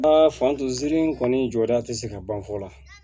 fantan zirin kɔni jɔda tɛ se ka ban fɔ la